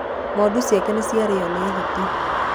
ng'ondu ciake nĩciarĩo nĩ hiti.